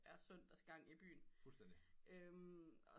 Er søndags gang i byen og